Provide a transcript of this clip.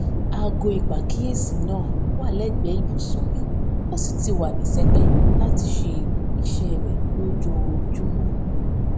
aago ìpàkíyèsí náà wà légbèé ibùsùn mi ó sì ti wà ní sẹpé láti ṣe iṣé rè lójoojúmó